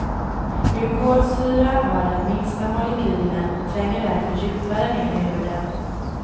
Glykolsyra har den minsta molekylen och tränger därför djupare ner i huden.